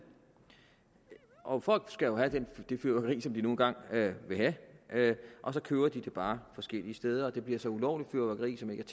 og folk skal jo have det fyrværkeri som de nu engang vil have og så køber de bare forskellige steder det bliver så ulovligt fyrværkeri som ikke